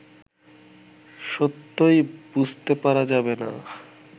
সত্যই বুঝতে পারা যাবে না